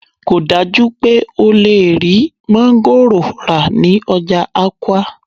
kò dájú pé o lè rí máńgòrò rà ní ọjà Awka